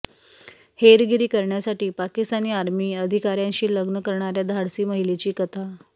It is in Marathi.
हेरगिरी करण्यासाठी पाकिस्तानी आर्मी अधिकाऱ्याशी लग्न करणाऱ्या धाडसी महिलेची कथा